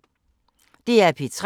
DR P3